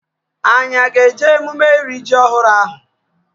Anyị a ga-eje emume iri ji ọhụrụ ahụ?